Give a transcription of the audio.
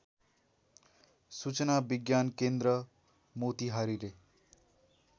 सूचना विज्ञानकेन्द्र मोतिहारीले